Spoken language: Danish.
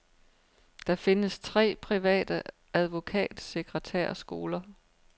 Der findes tre private advokatsekretærskoler.